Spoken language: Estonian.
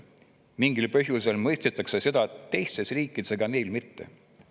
Mingil põhjusel mõistetakse seda teistes riikides, aga meil mitte.